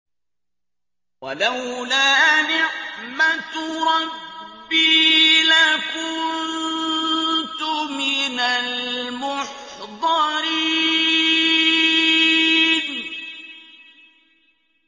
وَلَوْلَا نِعْمَةُ رَبِّي لَكُنتُ مِنَ الْمُحْضَرِينَ